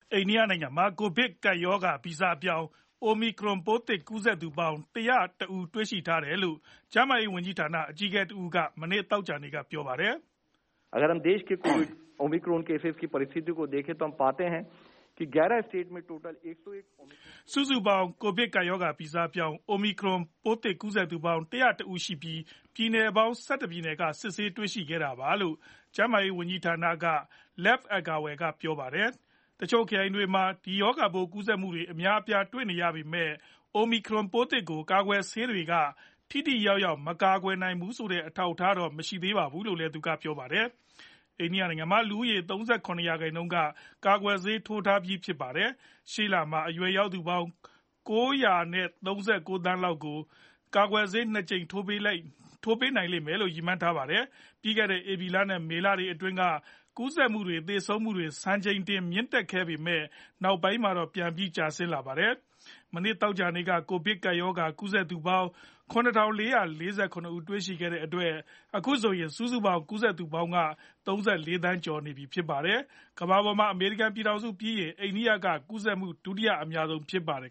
အိန္ဒိယနိုင်ငံမှာ ကိုဗစ်ကပ်ရောဂါ ဗီဇပြောင်း Omicron ပိုးသစ် ကူးစက်သူပေါင်း ၁ဝ၁ ဦး တွေ့ရှိထားတယ်လို့ ကျန်းမာရေးဝန်ကြီးဌာန အကြီးအကဲတဦးက မနေ့ သောကြာနေ့က ပြောပါတယ်။ စုစုပေါင်း ကိုဗစ်ကပ်ရောဂါဗီဇပြောင်း Omicron ပိုးသစ်ကူးစက်သူပေါင်း ၁ဝ၁ ဦးရှိပြီး ပြည်နယ်ပေါင်း ၁၁ ပြည်နယ်ကနေစစ်ဆေးတွေ့ရှိခဲ့တာပါ ကျန်းမာရေးဝန်ကြီးဌာနက Lav Agarwal က ပြောသွားတာပါ။ တချို့ ခရိုင်တွေမှာ ဒီရာဂါပိုး ကူးစက်မှုတွေအများအပြား တွေ့နေရပေမယ့် Omicron ပိုးသစ်ကို ကာကွယ်ဆေးတွေက ထိထိရောက်ရောက် မကာကွယ်နိုင်ဘူးဆိုတဲ့ အထောက်အထားတော့ မတွေ့ရှိရသေးဘူးလို့လည်း သူကပြောပါတယ်။ အိန္ဒိယနိုင်ငံမှာ လူဦးရေရဲ့ ၃၇ ရာခိုင်နှုန်းက ကာကွယ်ဆေးထိုးထားပြီးဖြစ်ပါတယ်။ ရှေ့လမှာ အရွယ်ရောက်သူပေါင်း ၉ ၃၉ သန်းလောက်ကို ကာကွယ်ဆေး ၂ကြိမ်ထိုးပေးနိုင်လိမ့်မယ်လို့ ရည်မှန်းထားပါတယ်။ ပြီးခဲ့တဲ့ ဧပြီလ နဲ့မေလတွေအတွင်းက ကူးစက်မှုတွေ သေဆုံးမှုတွေ စံချိန်တင်မြင့်တက်ခဲ့ပေမယ့် နောက်ပိုင်းမှာတော့ ပြန်ပြီး ကျဆင်းလာခဲ့တာပါ။ မနေ့ သောကြာနေ့က ကိုဗစ်ကပ်ရောဂါ ကူးစက်သူပေါင်း ၇ ၄၄၇ ဦးတွေ့ရှိခဲ့ရတဲ့အတွက် အခုဆို စုစုပေါင်း ကူးစက်သူပေါင်းက ၃၄ သန်းကျော် နေပြီဖြစ်ပါတယ်။ ကမ္ဘာပေါ်မှာ အမေရိကန် ပြည်ထောင်စုပြီးရင် အိန္ဒိယက ကူးစက်မှုဒုတိယအများဆုံးဖြစ်ပါတယ်